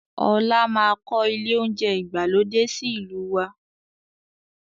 Ọlá máa kọ ilé oúnjẹ ìgbàlódé sì ìlú waa